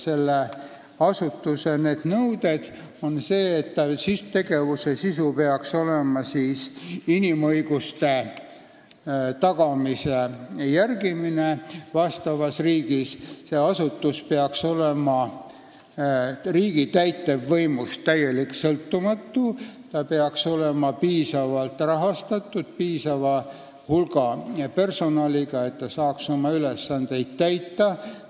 See asutus peaks järgima inimõiguste tagamist vastavas riigis ja ta peaks olema riigi täitevvõimust täielikult sõltumatu ning ta peaks olema piisavalt rahastatud, piisava hulga personaliga, et ta saaks oma ülesandeid täita.